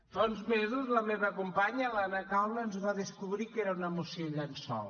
fa uns mesos la meva companya l’anna caula ens va descobrir que era una moció llençol